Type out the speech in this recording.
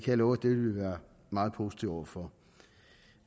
jeg love at det vil vi være meget positive over for